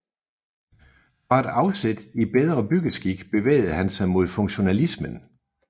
Fra et afsæt i Bedre Byggeskik bevægede han sig mod funktionalismen